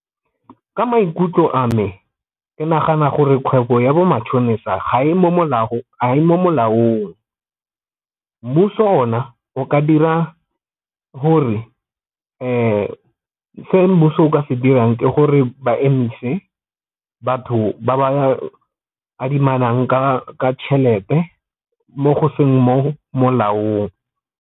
Ka maikutlo a me ke nagana gore kgwebo ya bo matšhonisa ga e mo molaong, mmuso ona o ka dira gore se mmuso o ka se dirang ke gore ba emise batho ba ba adimanang ka tšhelete mo go seng mo molaong.